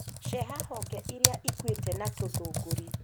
Ceha honge iria ikuĩte na tũthũngũri